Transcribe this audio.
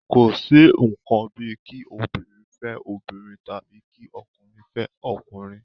Kò sí ǹkan bíi kí obìnrin fẹ́ obìnrin tàbí kí ọkùnrin fẹ́ ọkùnrin